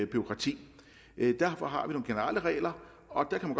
bureaukrati derfor har vi nogle generelle regler og der kan